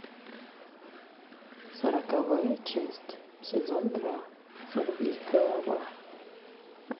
сороковая часть сезон два сорвиголова